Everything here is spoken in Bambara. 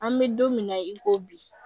An bɛ don min na i ko bi